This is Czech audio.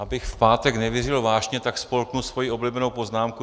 Abych v pátek nevířil vášně, tak spolknu svoji oblíbenou poznámku.